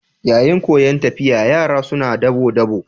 Yayin koyan tafiya, yara suna dabo-dabo.